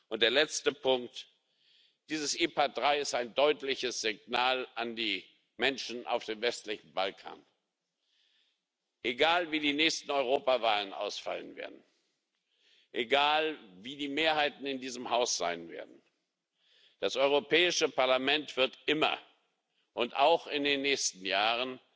Und der letzte Punkt Dieses IPA III ist ein deutliches Signal an die Menschen auf dem westlichen Balkan Egal wie die nächste Europawahl ausfallen wird, egal wie die Mehrheiten in diesem Haus sein werden, das Europäische Parlament wird immer und auch in den nächsten Jahren